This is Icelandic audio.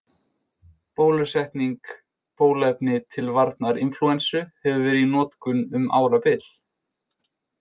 Bólusetning Bóluefni til varnar inflúensu hefur verið í notkun um árabil.